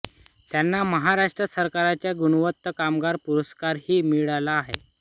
त्यांना महाराष्ट्र सरकारचा गुणवंत कामगार पुरस्कारही मिळाला आहे